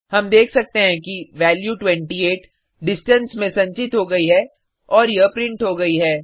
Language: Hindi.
हम देख सकते हैं कि वैल्यू 28 डिस्टेंस में संचित हो गई है और यह प्रिंट हो गयी है